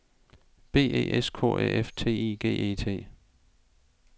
B E S K Æ F T I G E T